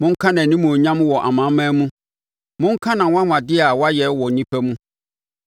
Monka nʼanimuonyam wɔ amanaman mu, monka nʼanwanwadeɛ a wayɛ wɔ nnipa mu.